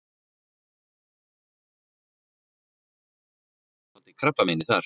Joð sest í skjaldkirtilinn og ef það er geislavirkt getur það valdið krabbameini þar.